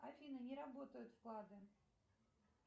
афина не работают вклады